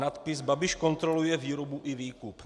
Nadpis Babiš kontroluje výrobu i výkup.